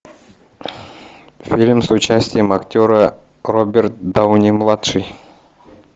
фильм с участием актера роберт дауни младший